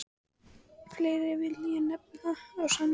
Fleiri vil ég nefna á Sandi.